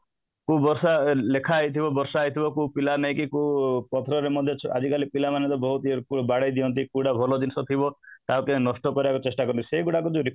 କୋଉ ବର୍ଷ ଲେଖାହେଇଥିବ ବର୍ଷା ହେଇଥିବ କୋଉ ପିଲା ନାଇକି ଆଜିକାଲି ର ପିଲା ମାନେ ତ ବହୁତ ବାଡେଇ ଦିଅଁନ୍ତି କୋଉଟା ଭଲ ଜିନିଷ ଥିବ ତାକୁ ନଷ୍ଟ କରିବାକୁ ଚେଷ୍ଟା କରିବେ ସେଗୁଡାକୁ